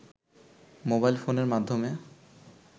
mobile ফোনের মাধ্যমে